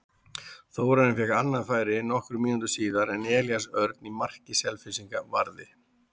Þórarinn fékk annað færi nokkrum mínútum síðar en Elías Örn í marki Selfyssinga varði.